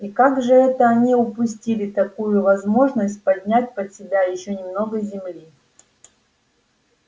и как же это они упустили такую возможность подмять под себя ещё немного земли